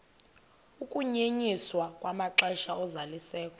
ukunyenyiswa kwamaxesha ozalisekiso